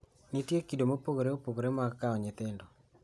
Nitie kido mopogore opogore mag kawo nyithindo.